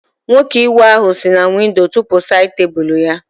Nwoke iwe ahụ si na windo tụpu sáyid tebụlu ya